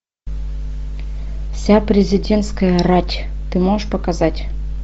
вся президентская рать ты можешь показать